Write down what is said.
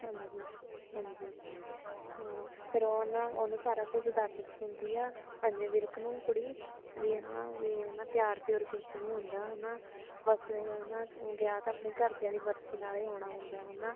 ਹਾਜ਼ੀ ਹਾਜ਼ੀ ਅ ਫ਼ਿਰ ਉਹ ਨਾ ਉਹਨੂੰ ਸਾਰਾ ਕੁਝ ਦੱਸ ਦਿੰਦੀ ਆ ਐਮੀ ਵਿਰਕ ਨੂੰ ਕੁੜੀ ਵੀ ਨਾ ਵੀ ਪਿਆਰ ਪਿਊਰ ਕੁੱਝ ਨੀ ਹੁੰਦਾ ਹਨਾਂ ਬਸ ਹਨਾਂ ਵਿਆਹ ਤਾਂ ਆਪਣੇ ਘਰ ਦਿਆਂ ਦੀ ਮਰਜ਼ੀ ਨਾਲ ਹੀ ਹੋਣਾ ਹੁੰਦਾ ਹਨਾਂ